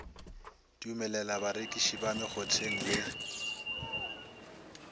dumelela barekiši ba mekgotheng le